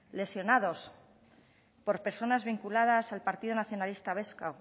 lesionados por personas vinculadas al partido nacionalista vasco